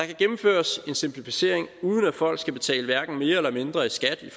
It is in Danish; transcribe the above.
kan gennemføres en simplificering uden at folk skal betale hverken mere eller mindre i skat i